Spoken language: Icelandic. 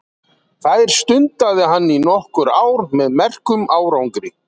Þær stundaði hann í nokkur ár með merkum árangri.